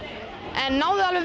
en kunnuð þið alveg